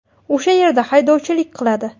O‘sha yerda haydovchilik qiladi.